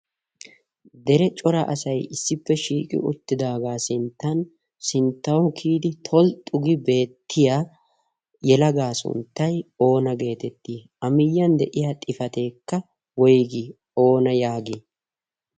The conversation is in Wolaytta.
dere cora asai issippe shiiqi uttidaagaa sinttan sinttawu kiyidi tolxxugi beettiya yelagaa sunttay oona geetettii amiyyiyan de'iya xifateekka woygii oona yaagii?